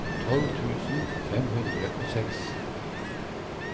tolv tusen fem hundre og seks